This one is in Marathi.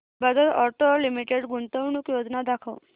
बजाज ऑटो लिमिटेड गुंतवणूक योजना दाखव